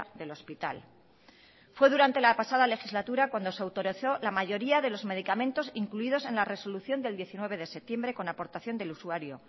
del hospital fue durante la pasada legislatura cuando se autorizó la mayoría de los medicamentos incluidos en la resolución del diecinueve de septiembre con aportación del usuario